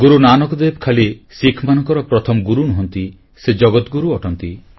ଗୁରୁ ନାନକ ଦେବ ଖାଲି ଶିଖମାନଙ୍କର ପ୍ରଥମ ଗୁରୁ ନୁହଁନ୍ତି ସେ ଜଗଦଗୁରୁ ଅଟନ୍ତି